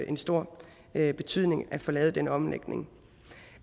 en stor betydning at få lavet den omlægning